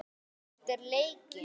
Eftir leikinn?